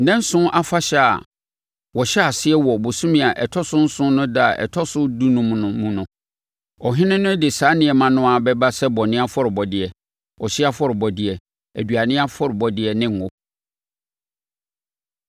“ ‘Nnanson Afahyɛ a wɔhyɛ aseɛ wɔ ɔbosome a ɛtɔ so nson no ɛda a ɛtɔ so dunum no mu no, ɔhene no de saa nneɛma no ara bɛba sɛ bɔne afɔrebɔdeɛ, ɔhyeɛ afɔrebɔdeɛ, aduane afɔrebɔdeɛ ne ngo.